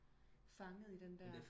Fanget i den der